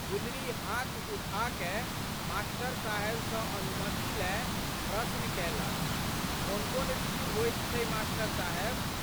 गुलरी हाथ उठाकए मा.साहेब सँ अनुमति लए प्रश्न कएलक, कोनकोन ऋतु होइत छै मास्टर साहेब?